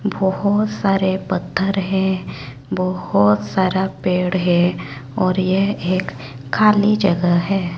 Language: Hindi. बहोत सारे पत्थर है बहोत सारा पेड़ है और ये एक खाली जगह है।